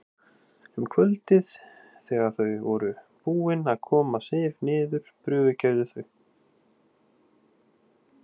Um kvöldið þegar þau voru búin að koma Sif niður prufukeyrðu þau